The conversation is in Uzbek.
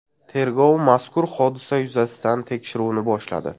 Tergov mazkur hodisa yuzasidan tekshiruvni boshladi.